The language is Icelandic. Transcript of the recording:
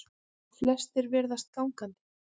Flestir ferðist gangandi